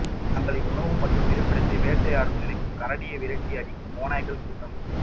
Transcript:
தங்களின் உணவு மற்றும் இருப்பிடத்தை வேட்டையாட நினைக்கும் கரடியை விரட்டி அடிக்கும் ஓநாய்கள் கூட்டம்